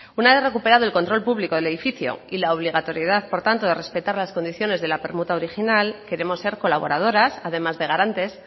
una vez recuperado el control público del edificio y la obligatoriedad por tanto de respetar las condiciones de la permuta original queremos ser colaboradoras además de garantes